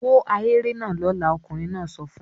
"Wó ahéré náà lọ́la!" Ọkùnrin náà sọ fún un.